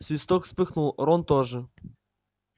свиток вспыхнул рон тоже